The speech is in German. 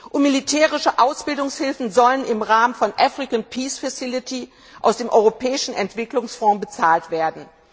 Und militärische Ausbildungshilfen sollen im Rahmen der African Peace Facility aus dem Europäischen Entwicklungsfonds bezahlt werden.